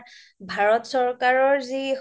ভাৰত চৰকাৰৰ